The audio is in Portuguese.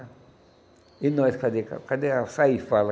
E nós, cadê ca cadê a sair fala?